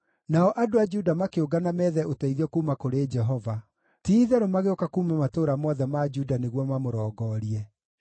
Nao andũ a Juda makĩũngana meethe ũteithio kuuma kũrĩ Jehova; ti-itherũ magĩũka kuuma matũũra mothe ma Juda nĩguo mamũrongorie.